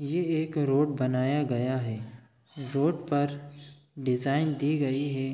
ये एक रोड बनाया गया है रोड पर डिजाइन दी गई है